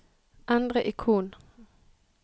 endre ikon